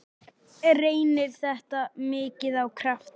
Reynir þetta mikið á krafta?